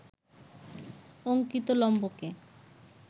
অঙ্কিত লম্বকে